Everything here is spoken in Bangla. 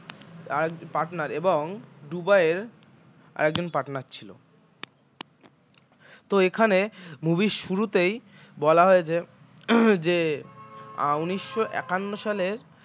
আর কি partner এবং দুবাইয়ের আরেকজন partner ছিল তো এখানে movie র শুরুতেই বলা হয়েছে যে উনিশশো একান্ন সালের